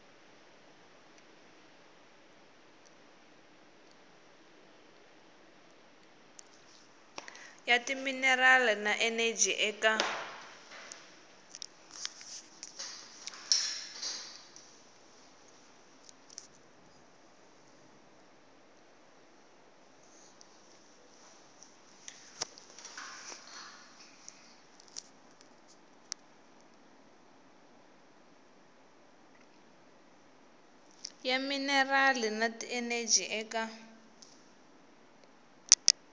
ya timinerali na eneji eka